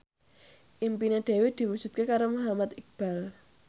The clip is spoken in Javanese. impine Dewi diwujudke karo Muhammad Iqbal